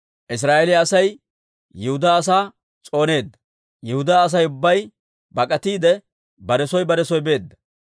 Israa'eeliyaa Asay Yihudaa asaa s'ooneedda; Yihudaa Asay ubbay bak'atiide, bare soo bare soo beedda.